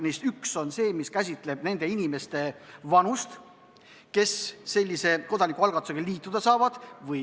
Neist üks on see, mis käsitleb nende inimeste vanust, kes sellise kodanikualgatusega liituda saavad.